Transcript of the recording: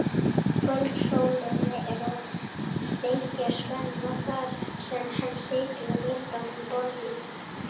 Kvöldsólin er að steikja Svenna þar sem hann situr við glugga um borð í